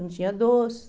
Não tinha doce.